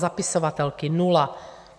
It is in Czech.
Zapisovatelky - nula.